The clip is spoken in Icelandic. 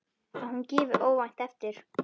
Að hún gefi óvænt eftir.